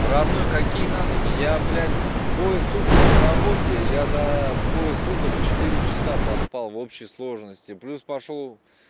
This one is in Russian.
родной какие на ноги я блядь двое суток на работе я за двое суток четыре часа поспал в общей сложности плюс пошёл